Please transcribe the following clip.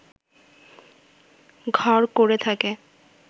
ঘর করে থাকে